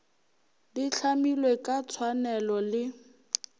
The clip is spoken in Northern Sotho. di hlamilwe ka tshwanelo le